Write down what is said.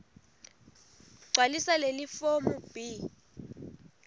gcwalisa lelifomu b